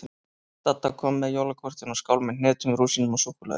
Dadda kom með jólakortin og skál með hnetum, rúsínum og súkkulaði.